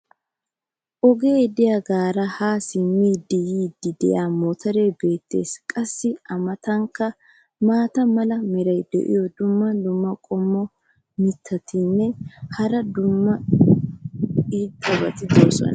ogee diyaagaara ha simmidi yiidi diya motoree beetees. qassi a matankka maata mala meray diyo dumma dumma qommo mitattinne hara dumma dumma irxxabati de'oosona.